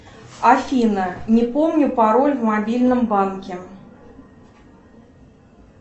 афина не помню пароль в мобильном банке